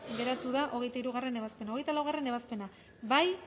geratu da hogeita hirugarrena ebazpena hogeita laugarrena ebazpena bozkatu